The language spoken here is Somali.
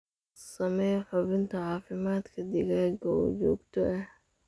Samee hubinta caafimaadka digaaga oo joogto ah.